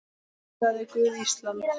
Blessaði Guð Ísland?